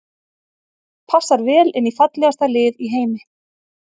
Passar vel inn í fallegasta lið í heimi.